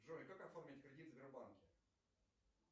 джой как оформить кредит в сбербанке